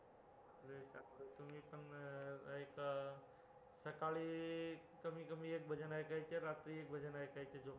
एक सकाळी कमीकमी एक भजन ऐकायचं आणि रात्री एक भजन ऐकायचं